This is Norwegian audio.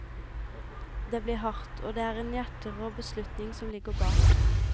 Det blir hardt, og det er en hjerterå beslutning som ligger bak.